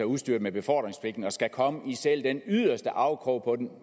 udstyret med befordringspligten og skal komme og i selv den yderste afkrog på den